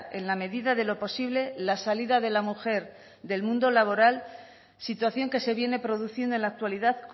en la medida de lo posible la salida de la mujer del mundo laboral situación que se viene produciendo en la actualidad